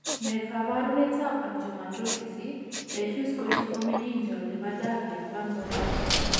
Ne kaabarunetap Angiomatosis, diffuse corticomeningeal ne po Divry ak Van Bogaert?